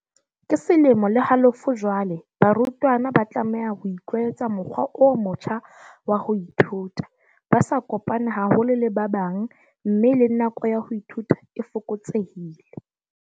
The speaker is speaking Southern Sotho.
"Ke selemo le halofo jwale barutwana ba tlameha ho itlwaetsa mokgwa o motjha wa ho ithuta, ba sa kopane haholo le ba bang mme le nako ya ho ithuta e fokotsehile."